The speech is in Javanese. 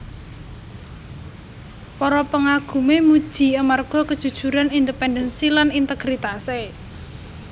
Para pangagumé muji amarga kejujuran independensi lan integritasé